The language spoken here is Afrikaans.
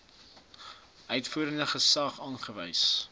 uitvoerende gesag aangewys